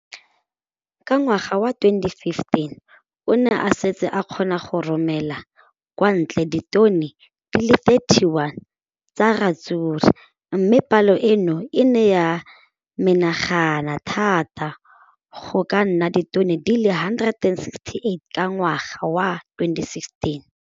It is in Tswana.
Ka ngwaga wa 2015, o ne a setse a kgona go romela kwa ntle ditone di le 31 tsa ratsuru mme palo eno e ne ya menagana thata go ka nna ditone di le 168 ka ngwaga wa 2016.